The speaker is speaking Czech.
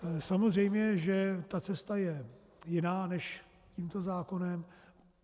Samozřejmě že ta cesta je jiná než tímto zákonem.